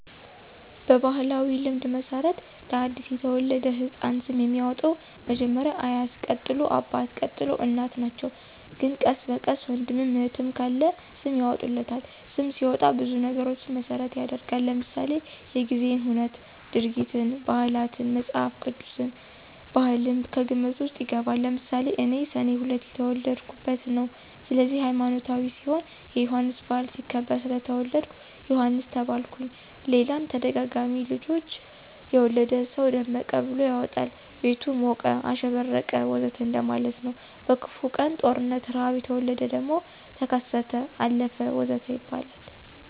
በባሕላዊ ልማድ መሠረት ለ አዲስ የተወለደ ሕፃን ስም የሚያወጣዉ መጀመሪያ አያት ቀጥሎ አባት፣ ቀጥሎ እናት ናቸው ግን ቀስ በቀስ ወንድምም እህትም ካለ ስም ያወጡለታል። ስም ሲወጣ ብዙ ነገሮችን መሰረት ይደረጋል ለምሳሌ:-የጊዜን ሁነት፣ ድርጊትን፣ ባህላትን፣ መፅሐፍ ቅዱስን፣ ባህልም ከግምት ውስጥ ይገባል። ለምሳሌ እኔ ሰኔ 2 የተወለድሁበት ነው ስለዚህ ሀይማኖታዊ ሲሆን የዮሐንስ በዓል ሲከበር ስለተወለድሁ ዮሐንስ ተባልሁኝ ሌላም ተደጋጋሚ ልጆች የወለደ ሰው ደመቀ ብሎ ያወጣል ቤቱ ሞቀ፣ አሸበረቀ ወዘተ እንደማለት ነው። በክፉ ቀን(ጦርነት፣ ርሐብ) የተወለደ ደግሞ ተከሰተ፣ አለፈ ወዘተ ይባላል